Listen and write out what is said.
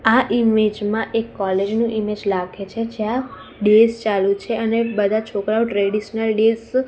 આ ઇમેજ માં એક કોલેજ નુ ઇમેજ લાગે છે જ્યા ડેઝ ચાલુ છે અને બધા છોકરાઓ ટ્રેડિશનલ ડેઝ --